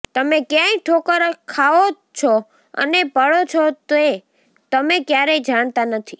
તમે ક્યાંય ઠોકર ખાઓ છો અને પડો છો તે તમે ક્યારેય જાણતા નથી